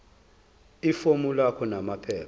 ifomu lakho namaphepha